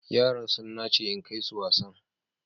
Yara sun nace in kai su wasan.